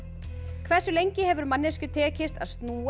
hversu lengi hefur manneskju tekist að snúa